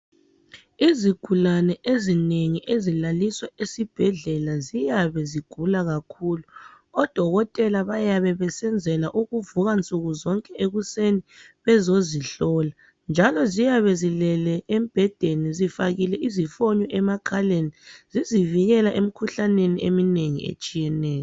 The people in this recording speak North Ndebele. Izigulane ezinengi ezilaliswa esibhedlela ziyabe zigula kakhulu odokotela bayabebesenzela ukuvuka nsukuzonke ekuseni bezozihlola. Njalo ziyabe zilele zifake embhedeni zifakile izifoni emakhaleni zizivikela emikhuhlaneni eminengi etshiyeneyo.